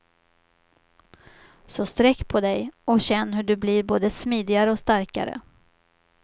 Så sträck på dig och känn hur du blir både smidigare och starkare.